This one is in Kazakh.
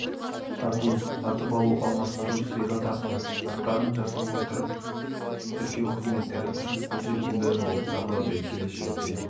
сату-сатып алу алмастыру сыйға тарту шарттарын жасай отырып тіркеу қызметтері үшін қолжетімді болып табылады келешекте